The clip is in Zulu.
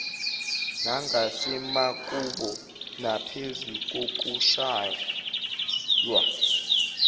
nangasemakubo naphezu kokushaywa